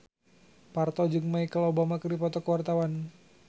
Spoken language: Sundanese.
Parto jeung Michelle Obama keur dipoto ku wartawan